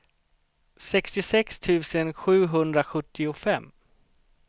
sextiosex tusen sjuhundrasjuttiofem